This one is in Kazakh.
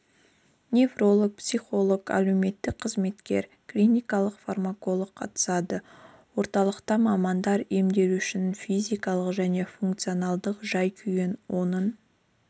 невролог психолог әлеуметтік қызметкер клиникалық фармаколог қатысады орталықта мамандар емделушінің физикалық және функционалдық жай-күйін оның